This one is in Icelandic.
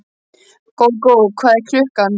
Gógó, hvað er klukkan?